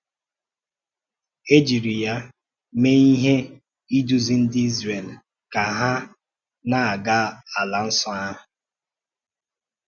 E jiri ya mee ihe um idúzi ndị Izrel ka ha na-aga Ala um Nsọ ahụ.